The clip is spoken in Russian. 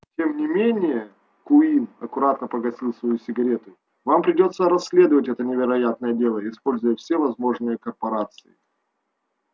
тем не менее куинн аккуратно погасил свою сигарету вам придётся расследовать это невероятное дело используя все возможности корпорации